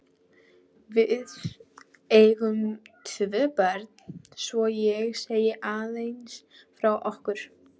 Við eigum tvö börn, svo ég segi aðeins frá okkur.